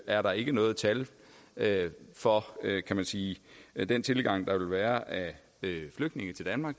er der ikke noget tal tal for kan man sige den tilgang der ville være af flygtninge til danmark